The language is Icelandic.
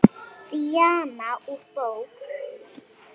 Díana úr bók.